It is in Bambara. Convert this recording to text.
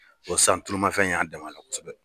san tulumafɛn y'a dɛmɛ a la kosɛbɛ.